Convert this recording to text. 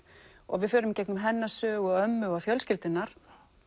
við förum í gegnum hennar sögu og ömmu og fjölskyldunnar